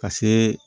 Ka see